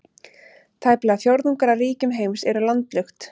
Tæplega fjórðungur af ríkjum heims eru landlukt.